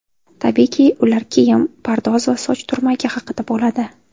Tabiiyki, ular kiyim, pardoz va soch turmagi haqida bo‘ladi.